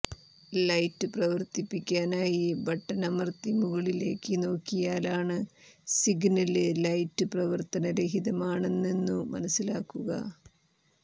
light പ്രവര്ത്തിപ്പിക്കാനായി ബട്ടണമര്ത്തി മുകളിലേക്കു നോക്കിയാലാണ് സിഗ്നല് ലൈറ്റ് പ്രവര്ത്തനരഹിതമാണെന്നു മനസിലാകുക